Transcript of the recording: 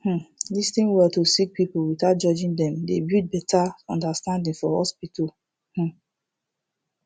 um lis ten well to sik pipul without judging dem dey build beta understanding for hospital um